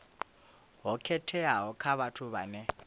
ho khetheaho kha vhathu vhane